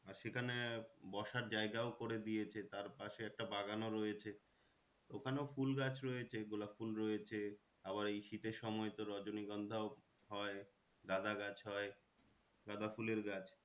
আর সেখানে বসার জায়গাও করে দিয়েছে। তার পাশে একটা বাগানও রয়েছে। ওখানেও ফুল গাছ রয়েছে। গোলাপ ফুল রয়েছে আবার এই শীতের সময় তো রজনীগন্ধাও হয় গাঁদা গাছ হয় গাঁদা ফুলের গাছ